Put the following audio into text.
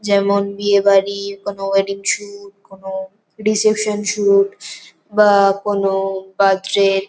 যেমন বিয়ে বাড়ি কোন ওয়েডিং শুট কোন রিসেপশন শুট বা-আ কোন বার্থডে --